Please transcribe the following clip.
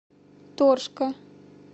торжка